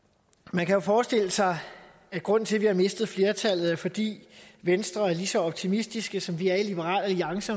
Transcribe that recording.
man kan jo forestille sig at grunden til at vi har mistet flertallet er fordi venstre er lige så optimistiske som vi er i liberal alliance